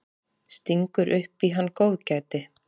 Stingur upp í hann góðgæti.